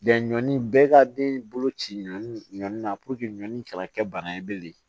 ɲɔni bɛɛ ka den bolo ci ɲɔnni na ɲɔni kana kɛ bana ye bilen